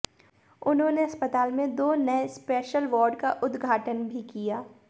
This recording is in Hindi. उन्होंने अस्पताल में दो नये स्पैशल वार्ड का उद्घाटन भी किया